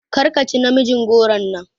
Karka ci namijin goron nan!